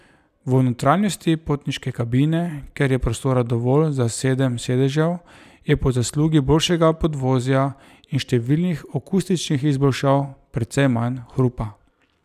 V notranjosti potniške kabine, kjer je prostora dovolj za sedem sedežev, je po zaslugi boljšega podvozja in številnih akustičnih izboljšav, precej manj hrupa.